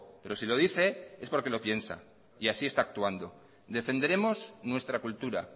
pero si lo dice es porque lo piensa y así está actuando defenderemos nuestra cultura